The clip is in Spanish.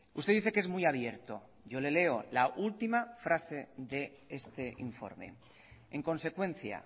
usted dice que es muy abierto yo le leo la última frase de este informe en consecuencia